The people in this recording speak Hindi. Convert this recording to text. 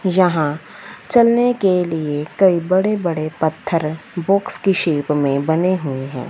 यहां चलने के लिए कई बड़े-बड़े पत्थर बॉक्स की शेप में बने हुए हैं।